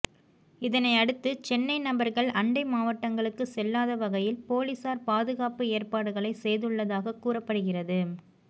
இதனை அடுத்து சென்னை நபர்கள் அண்டை மாவட்டங்களுக்கு செல்லாத வகையில் போலீசார் பாதுகாப்பு ஏற்பாடுகளை செய்துள்ளதாக கூறப்படுகிறது